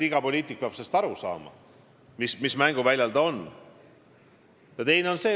Iga poliitik peab aru saama, mis mänguväljal ta on.